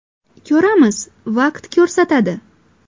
Ko‘ramiz, vaqt ko‘rsatadi.